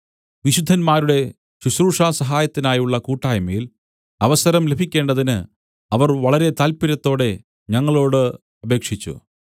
വിശുദ്ധന്മാരുടെ ശുശ്രൂഷാസഹായത്തിനായുള്ള കൂട്ടായ്മയിൽ അവസരം ലഭിക്കേണ്ടതിന് അവർ വളരെ താല്പര്യത്തോടെ ഞങ്ങളോട് അപേക്ഷിച്ചു